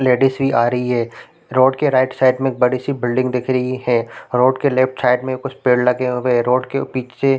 ladies भी आ रही है रोड के राइट साइड में एक बड़ी- सी बिल्डिंग दिख रही है रोड लेफ्ट साइड में कुछ पेड़ लगे हुए है रोड के पीछे --